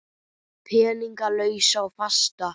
Peninga lausa og fasta?